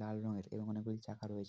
লাল রঙের এবং অনেক গুলি চাকা রয়েছ--